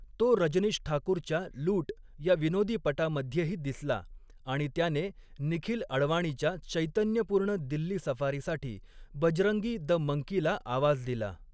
तो रजनीश ठाकूरच्या लूट ह्या विनोदीपटामध्येही दिसला आणि त्याने निखिल अडवाणीच्या चैतन्यपूर्ण दिल्ली सफारीसाठी 'बजरंगी द मंकी'ला आवाज दिला.